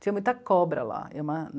Tinha muita cobra lá.